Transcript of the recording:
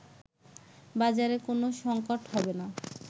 বাজারে কোনো সংকট হবে না